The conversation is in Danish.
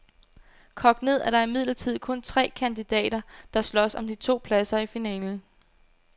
Kogt ned er der imidlertid kun tre kandidater, der slås om de to pladser i finalen.